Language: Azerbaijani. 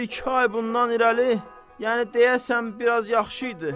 Bir-iki ay bundan irəli, yəni deyəsən biraz yaxşı idi.